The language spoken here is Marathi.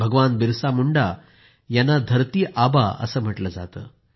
भगवान बिरसा मुंडा यांना धरती आबा असं म्हटलं जातं